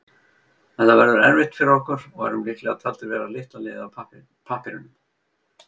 Þetta verður erfitt fyrir okkur og erum líklega taldir vera litla liðið á pappírunum.